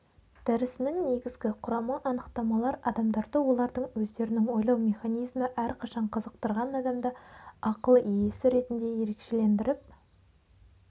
дәрісінің негізгі құрамы анықтамалар адамдарды олардың өздерінің ойлау механизмі әрқашан қызықтырған адамды ақыл иесі ретінде ерекшелендіріп